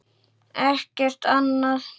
Ekkert annað?